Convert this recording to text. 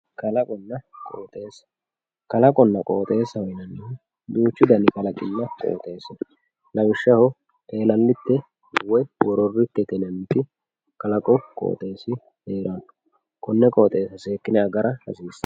kalaqonna qooxeessa kalaqonna qooxeessa yinanihu duuchu dani qooxeessi no lawishshaho eelallite woyi wororitete yinanniti kalaqu qooxeessi heeranno konne qooxeessa seekkine agara hasiissanno.